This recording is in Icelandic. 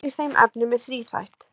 Áherslan í þeim efnum er þríþætt.